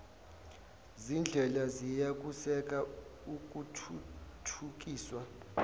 zindlela ziyakusekela ukuthuthukiswa